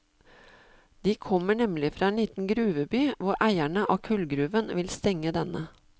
De kommer nemlig fra en liten gruveby hvor eierne av kullgruven vil stenge denne.